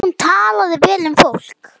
Hún talaði vel um fólk.